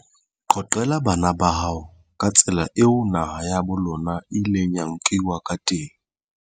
Qoqela bana ba hao ka tsela eo naha ya bo lona e ileng ya nkiwa ka teng.